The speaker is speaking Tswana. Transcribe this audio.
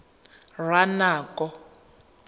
ranoko